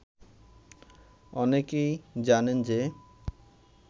অনেকেই জানেন যে